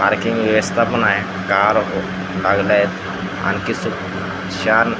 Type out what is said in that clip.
आणखीन वेस्टा पण आहे. कार लागलंय आणखीन छान--